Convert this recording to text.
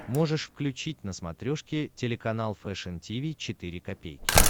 можешь включить на смотрешке телеканал фэшн ти ви четыре ка